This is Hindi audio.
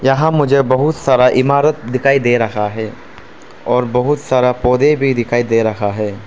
हां मुझे बहुत सारा इमारत दिखाई दे रहा है और बहुत सारा पौधे भी दिखाई दे रहा है।